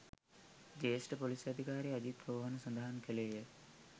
ජ්‍යෙෂ්ඨ පොලිස් අධිකාරී අජිත් රෝහණ සඳහන් කළේය